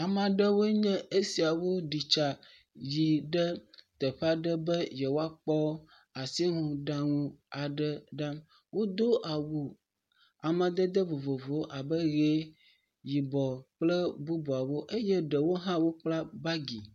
Ame aɖewoe nye esiawo ɖi tsa yi ɖe teƒe aɖe be yewoakpɔ asinuɖaŋu aɖe ɖa, wodo awu amadede vovovowo abe ʋe, yibɔ kple bubuawo, eye ɖewo hã wokpla bagi.